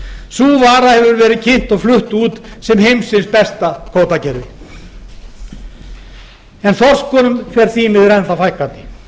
vara hefur verið kynnt og flutt út sem heimsins besta fiskveiðikerfi en þorskunum fer því miður enn þá fækkandi